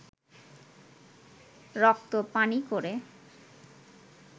রক্ত পানি করে